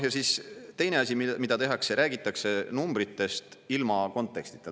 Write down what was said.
Ja siis teine asi, mida tehakse – räägitakse numbritest ilma kontekstita.